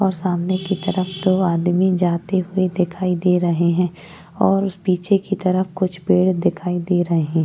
और सामने की तरफ दो आदमी जाते हुये दिखाई दे रहे हैं और पीछे की तरफ कुछ पेड़ दिखाई दे रहें --